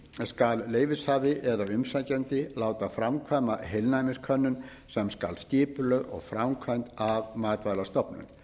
skal leyfishafi eða umsækjandi láta framkvæma heilnæmiskönnun sem skal skipulögð og framkvæmd af matvælastofnun